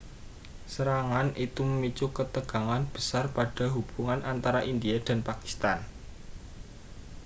serangan itu memicu ketegangan besar pada hubungan antara india dan pakistan